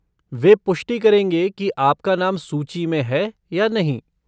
वे पुष्टि करेंगे कि आपका नाम सूची में है या नहीं।